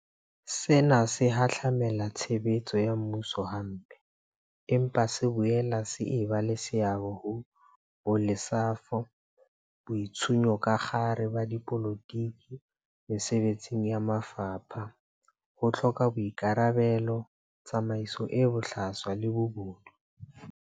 Sena se hahlamela tshebetso ya mmuso hampe, empa se boela se eba le seabo ho bolesafo, boitshunyakgare ba dipolotiki mesebetsing ya mafapha, ho hloka boika rabelo, tsamaiso e bohlaswa le bobodu.